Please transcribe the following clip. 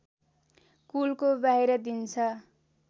कुलको बाहिर दिन्छ